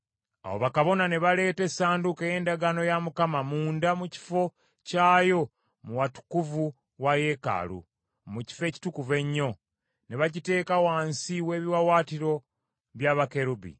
Awo bakabona ne baleeta essanduuko ey’endagaano ya Mukama munda mu kifo kyayo mu watukuvu wa yeekaalu, mu Kifo Ekitukuvu Ennyo, ne bagiteeka wansi w’ebiwaawaatiro bya bakerubi.